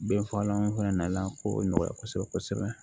Binfagalan fana nana ko nɔgɔya kosɛbɛ kosɛbɛ